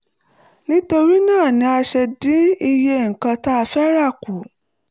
nítorí náà ni a ṣe dín iye nǹkan tá fẹ́ rà kù